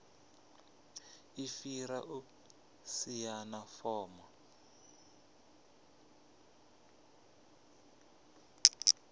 i fhira u saina fomo